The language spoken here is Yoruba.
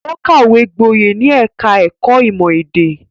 Ó kàwé gboyè ní ẹ̀ka-ẹ̀kọ́ ìmọ̀-èdè.